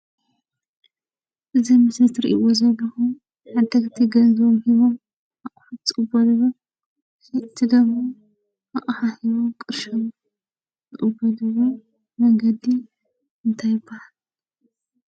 እዚ ምስሊ ትርእይዎ ዘለኹም ዓደግቲ ገንዘቦም ሂቦሞ ኣቝሑት ዝቕበሉሉ ሸየጥቲ እንደሞ ኣቕሓ ሂቦሙ ቅርሺ ዝቕበሉሉ መንገዲ እንታይ ይበሃል?